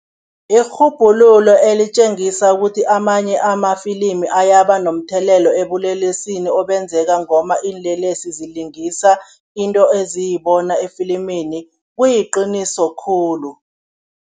Irhubhululo elitjengisa ukuthi amanye amafilimi ayaba nomthelelo ebulelesini obenzeka ngomba iinlelesi zilingisa into eziyibona efilimini, kuyiqiniso khulu.